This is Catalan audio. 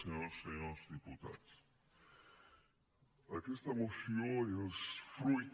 senyores i senyors diputats aquesta moció és fruit